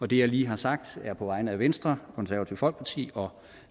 det jeg lige har sagt er på vegne af venstre konservative folkeparti og